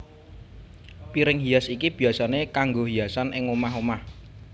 Piring hias iki biyasané kanggo hiasan ing omah omah